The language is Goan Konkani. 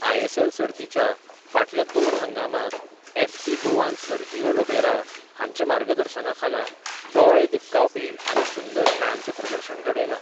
आयएसएल सर्तीच्या फाटल्या दोन हंगामांत एफसी गोवान सर्जिओ लोबेरा हांच्या मार्गदर्शनाखाला दोळे दिपकावपी आनी सुंदर खेळांचें प्रदर्शन घडयलां.